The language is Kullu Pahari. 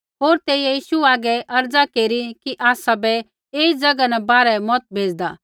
होर तेइयै यीशु हागै अर्ज़ा केरी कि आसाबै ऐई ज़ैगा न बाहरै मत भेज़दा